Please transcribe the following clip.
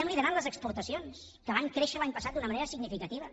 liderem les exportacions que van créixer l’any passat d’una manera significativa